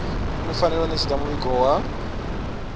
fanela u ṋetshedza muvhigo wa